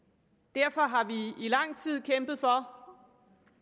derfor har vi i lang tid kæmpet for